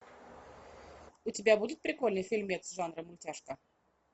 у тебя будет прикольный фильмец жанра мультяшка